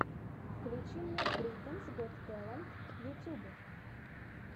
включи мне британс гот тэлэнт ютуб